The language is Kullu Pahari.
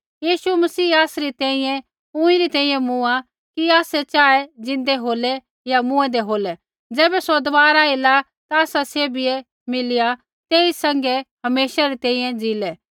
यीशु मसीह आसरी तैंईंयैं ऊँईरी तैंईंयैं मूँआ कि आसै चाहे ज़िन्दै होलै या मूँऐंदै होलै ज़ैबै सौ दबारा एला ता आसा सैभै मिलिया तेई सैंघै हमेशा री तैंईंयैं ज़ीलै